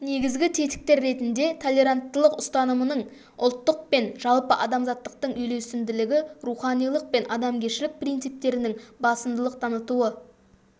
негізгі тетіктер ретінде толеранттылық ұстанымның ұлттық пен жалпыадамзаттықтың үйлесімділігі руханилық пен адамгершілік принциптерінің басымдылық танытуы